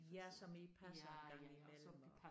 Ja som I passer en gang imellem og